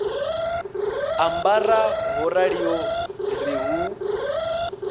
ambara ho raliho ri hu